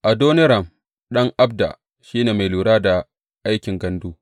Adoniram ɗan Abda, shi ne mai lura da aikin gandu.